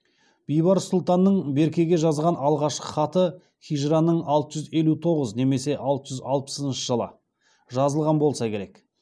бейбарыс сұлтанның беркеге жазған алғашқы хаты хижраның алты жүз елу тоғыз немесе алты жүз алпысыншы жылы жазылған болса керек